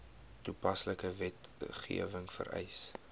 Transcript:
toepaslike wetgewing vereis